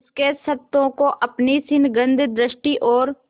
उसके क्षतों को अपनी स्निग्ध दृष्टि और